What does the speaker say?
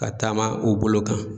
Ka taama u bolo kan.